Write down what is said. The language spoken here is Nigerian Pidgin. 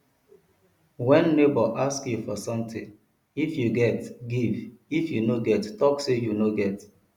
when neighbor ask you for something if you get give if you no get talk say you no get